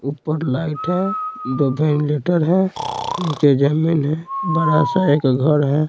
ऊपर लाइट है दो वेंटिलेटर है नीचे जमीन है बड़ा सा एक घर है।